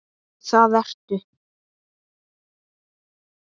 Það ertu.